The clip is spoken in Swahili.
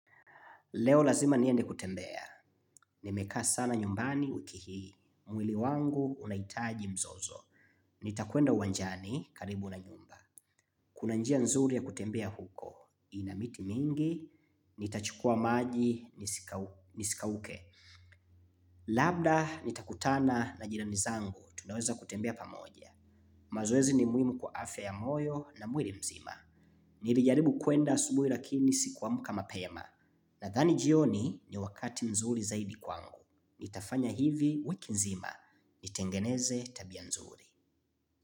Leo lazima niende kutembea, nimekaa sana nyumbani wiki hii. Mwili wangu unahitaji mzozo. Nitakwenda uwanjani karibu na nyumba. Kuna njia nzuri ya kutembea huko, ina miti mingi, nitachukua maji nisikauke. Labda nitakutana na jirani zangu, tunaweza kutembea pamoja. Mazoezi ni muhimu kwa afya yamoyo na mwili mzima. Nilijaribu kuenda asubuhi lakini sikuamka mapema. Nadhani jioni ni wakati nzuri zaidi kwangu. Nitafanya hivi wiki nzima. Nitengeneze tabia nzuri.